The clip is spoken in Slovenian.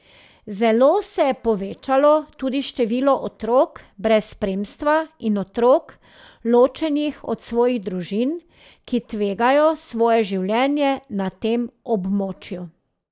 Zelo se je povečalo tudi število otrok brez spremstva in otrok, ločenih od svojih družin, ki tvegajo svoje življenje na tem območju.